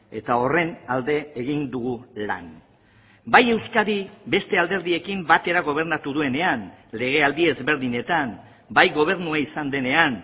eta horren alde egin dugu lan bai euskadi beste alderdiekin batera gobernatu duenean legealdi ezberdinetan bai gobernua izan denean